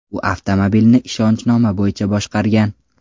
U avtomobilni ishonchnoma bo‘yicha boshqargan.